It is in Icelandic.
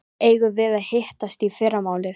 Eigum við að hittast í fyrramálið?